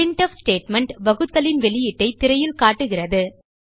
printf statement வகுத்தலின் வெளியீட்டைத் திரையில் காட்டுகிறது